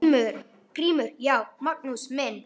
GRÍMUR: Já, Magnús minn!